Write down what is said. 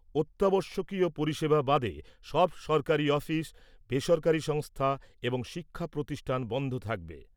অত্যাবশ্যকীয় পরিষেবা বাদে সব সরকারি অফিস , বেসরকারি সংস্থা এবং শিক্ষা প্রতিষ্ঠান বন্ধ থাকবে ।